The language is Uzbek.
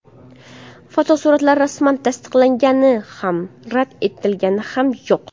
Fotosurat rasman tasdiqlangani ham rad etilgani ham yo‘q.